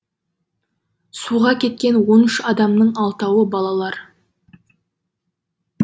суға кеткен он үш адамның алтауы балалар